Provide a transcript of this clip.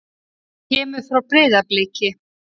Hann kemur frá Breiðabliki.